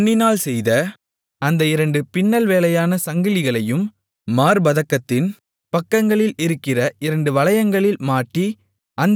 பொன்னினால் செய்த அந்த இரண்டு பின்னல் வேலையான சங்கிலிகளையும் மார்ப்பதக்கத்தின் பக்கங்களில் இருக்கிற இரண்டு வளையங்களில் மாட்டி